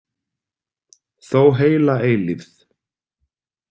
Þó heila eilífð.